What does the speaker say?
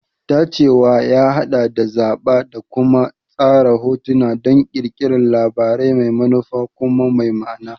Tacewa ya haɗa da zaɓa da kuma tsara hotuna don ƙirƙirar labari mai manufa kuma mai ma'ana.